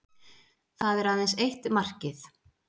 Það er aðeins eitt markið